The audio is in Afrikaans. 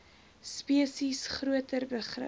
spesies groter begrip